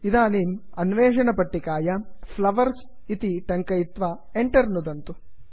इदानीम् अन्वेषणपट्टिकायां flowers flowers इति टङ्कयित्वा Enter एंटर् नुदन्तु